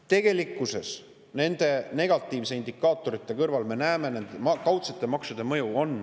Tegelikkuses me nende negatiivsete indikaatorite kõrval näeme kaudsete maksude mõju.